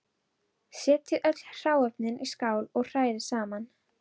Setjið öll hráefnin í skál og hrærið saman.